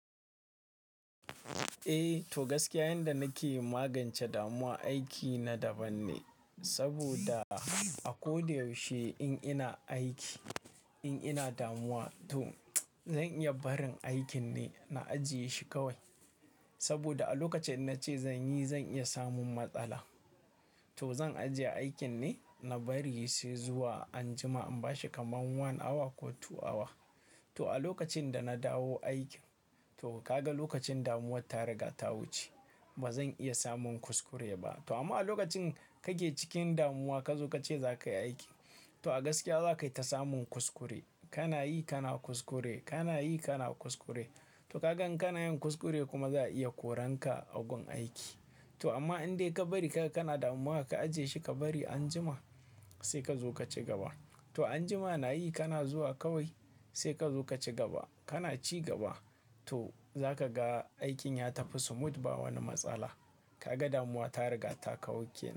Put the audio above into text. Eh, to gaskiya yanda nake magance damuwa aiki na daban ne. Saboda a ko da yaushe in ina aiki, in ina damuwa to zan iya barin aikin ne na ajiye shi kawai. Saboda a lokacin na ce zan yi, zan iya samun matsala. To zan ajiye aikin ne na bari shi sai zuwa anjima in bashi kaman one hour ko two hour. To a lokacin da na dawo aikin, to kaga lokacin damuwar ta riga ta wuce. Ba zan iya samun kuskure ba. To amma a lokacin kake cikin damuwa ka zo ka ce za ka yi aiki, to a gaskiya za ka tafi samun kuskure. Kana yi kana kuskure, kana yi kana kuskure. To kagan kana yin kuskure kuma za a iya koranka a gun aiki. To amma in dai ka bari ka kana damuwa ka ajiye shi ka bari anjima sai ka zo ka ci gaba. To anjima na yi kana zuwa kawai sai ka zo ka ci gaba. Kana ci gaba to za ka ga aikin ya tafi smooth ba wani matsala. Kaga damuwa ta riga ta kawoke.